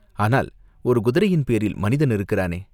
"ஆனால் ஒரு குதிரையின் பேரில் மனிதன் இருக்கிறானே?